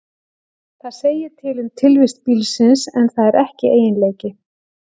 Það segir til um tilvist bílsins, en það er ekki eiginleiki.